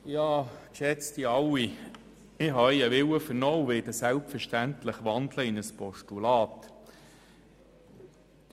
Ich habe Ihren Willen vernommen und werde den Vorstoss selbstverständlich in ein Postulat wandeln.